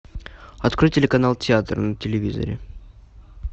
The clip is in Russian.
открой телеканал театр на телевизоре